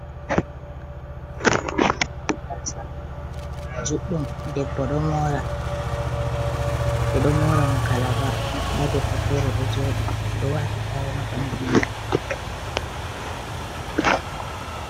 Gasa juɗɗuum debbo ɗo mora, ɓeɗo mora mo kalaba nda debbo fere ɗo joɗi oɗo wati tawul ha bandu mako.